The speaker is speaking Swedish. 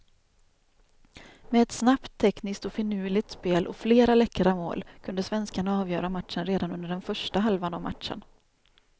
Med ett snabbt, tekniskt och finurligt spel och flera läckra mål kunde svenskarna avgöra matchen redan under den första halvan av matchen.